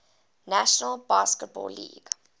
national basketball league